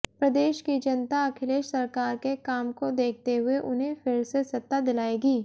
प्रदेश की जनता अखिलेश सरकार के काम को देखते हुए उन्हें फिर से सत्ता दिलाएगी